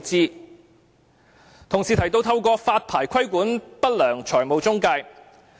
有同事提到透過發牌規管不良財務中介。